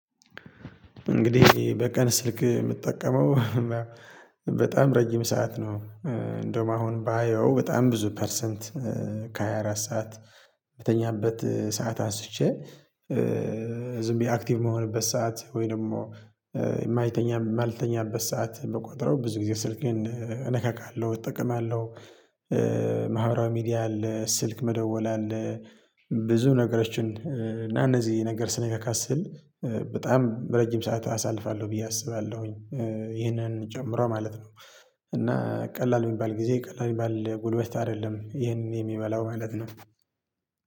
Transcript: እንግዲህ በቀን ስልክ የምጠቀመው በጣም ረጅም ሰዓት ነው። እንደውም አሁን ባየው በጣም ብዙ ፐርሰንት ከሃያ አራት ሰዓት ምተኛበት ሰዓት አንስቼ። ዝም ብዬ አክቲቭ የምሆንበት ሰዓት ወይ ደግሞ የማይተኛ የማልተኛበት ሰዓት የምቆጥረው ብዙ ጊዜ ስልክ ግን እነካካለሁ እጠቀማለሁ። ማህበራዊ ሚዲያ አለ ስልክ መደወል አለ። ብዙ ነገሮችን እና እነዚህ ነገር ስነጋጋ ስል በጣም ረጅም ሰዓት አሳልፋለሁ ብዬ አስባለሁኝ። ይሄንን ጨምሮ ማለት ነው። እና ቀላል የሚባል ጊዜ ቀላል የሚባል ጉልበት አይደለም ይህንን የሚበላው ማለት ነው